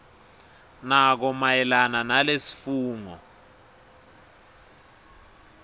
nako mayelana nalesifungo